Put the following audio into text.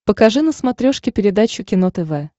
покажи на смотрешке передачу кино тв